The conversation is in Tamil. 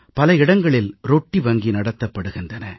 பல இடங்களில் ரொட்டி வங்கி நடத்தப்படுகின்றன